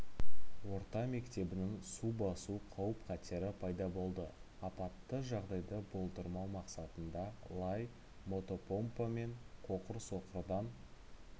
орта мектебінің су басу қауіп-қатері пайда болды аппатты жағдайды болдырмау мақсатында лай мотопомпа мен қоқыр-соқырдан